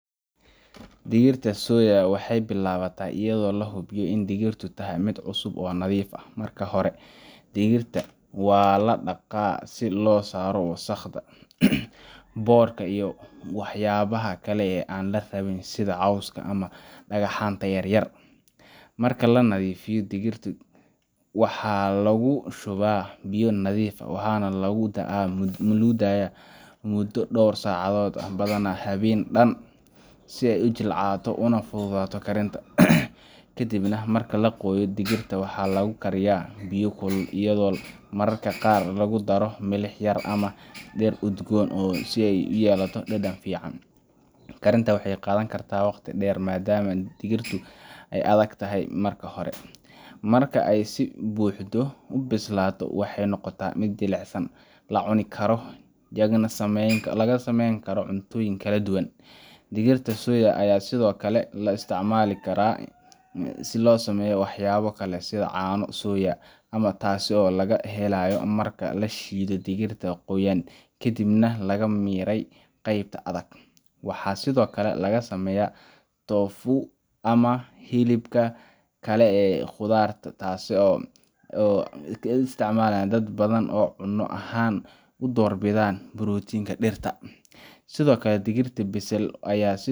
Diyaarinta digirta soya waxay bilaabataa iyadoo la hubiyo in digirtu tahay mid cusub oo nadiif ah. Marka hore digirta waa la dhaqaa si loo saaro wasakhda, boodhka iyo waxyaabaha kale ee aan la rabin sida cawska ama dhagxaanta yaryar. Marka la nadiifiyo kadib, digirta waxaa lagu shubaa biyo nadiif ah waxaana lagu daayaaa muddo dhowr saacadood, badanaa habeen dhan, si ay u jilcato una fududaato karinta. Ka dib marka la qoyay, digirta waxaa lagu karkariyaa biyo kulul iyadoo mararka qaar lagu daro milix yar ama dhir udgoon si ay u yeelato dhadhan fiican. Karinta waxay qaadan kartaa waqti dheer maadaama digirtu ay adag tahay marka hore. Marka ay si buuxda u bislaato, waxay noqotaa mid jilicsan, la cuni karo, lagana sameyn karo cuntooyin kala duwan. Digirta soya ayaa sidoo kale loo isticmaalaa karaa si loo sameeyo waxyaabo kale sida caano soya ah, taas oo laga helayo marka la shiido digirta qoyan kadibna laga miiray qaybta adag. Waxaa sidoo kale laga sameeyaa tofu ama hilibka kale ee khudradeed ah, taas oo ay isticmaalaan dad badan oo cunno ahaan u doorbida borotiinka dhirta Sidoo kale digirta bisil ayaa si